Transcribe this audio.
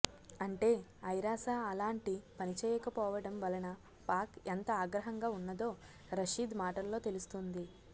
అంటే ఐరాస అలాంటి పని చేయకపోవడం వలన పాక్ ఎంత ఆగ్రహంగా ఉన్నదో రషీద్ మాటల్లో తెలుస్తోంది